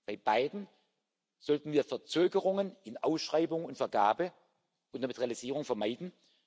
Bei beiden sollten wir Verzögerungen in Ausschreibung und Vergabe und damit Realisierung vermeiden.